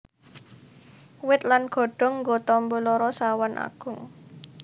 Wit lan godhong nggo tamba lara sawan agung